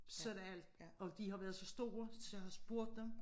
Så er det alt og de har været så store så jeg har spurgt dem